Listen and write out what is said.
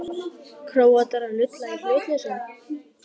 Króatar að lulla í hlutlausum?